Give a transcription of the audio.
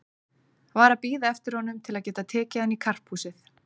Var að bíða eftir honum til að geta tekið hann í karphúsið.